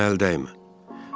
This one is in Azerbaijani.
Mənə əl dəymə.